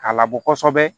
K'a labɔ kosɛbɛ